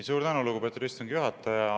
Suur tänu, lugupeetud istungi juhataja!